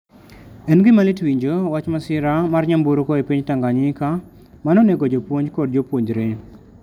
En gima lit winjo wach masira mar nyamburko e piny Tanganyika ma nonego jopuonj kod jopuonjre.